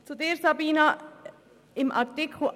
Zu Sabina Geissbühler: